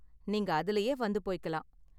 நீங்க அதுலயே வந்து போய்க்கலாம்.